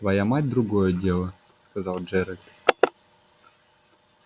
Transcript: твоя мать другое дело сказал джералд